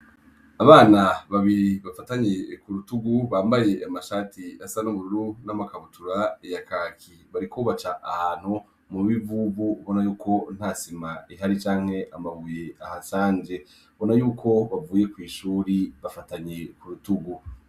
Abana babiri bafatanyi ku rutugu bambaye amashati asanubururu n'amakabutura yakaki barikubaca ahantu mu bivubu bona yuko ntasima ihari canke amabuye ahasanje bona yuko bavuye kw'ishuri bafatanye ku rutugu.